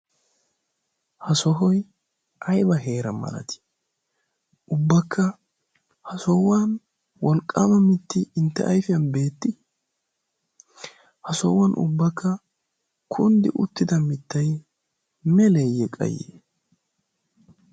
ha sohoi aiba heera malati? ubbakka sohuwan wolqqaama mitti intte aifiyan beetti? ha sohuwan ubbakka kunddi uttida mittai meleeyye qayye?